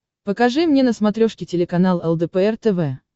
покажи мне на смотрешке телеканал лдпр тв